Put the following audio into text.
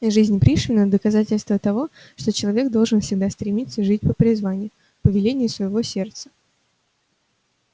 жизнь пришвина доказательство того что человек должен всегда стремиться жить по призванию по велению своего сердца